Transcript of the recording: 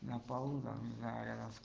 на полу да рядом с